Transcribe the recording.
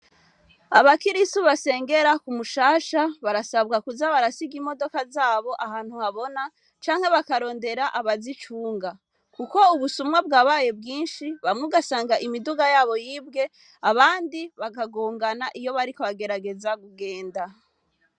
Abakirisu basengera ku Mushasha, barasabwa kuza barasiga imodoka zabo ahantu habona, canke bakarondera abazicunga. Kuko ubusuma bwabaye bwinshi, bamwe ugasanga imiduga yabo yibwe, abandi bakagongana iyo bariko bagerageza kugenda.